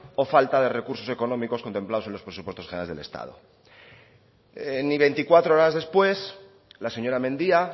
o falta de recursos económicos contemplados en los presupuestos generales del estado ni veinticuatro horas después la señora mendia